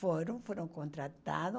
Foram, foram contratados.